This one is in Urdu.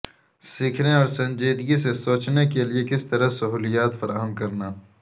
سیکھنے اور سنجیدگی سے سوچنے کے لئے کس طرح سہولیات فراہم کرنا